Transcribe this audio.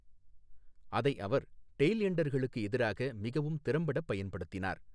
அதை அவர் டெய்ல் எண்டர்களுக்கு எதிராக மிகவும் திறம்பட பயன்படுத்தினார்.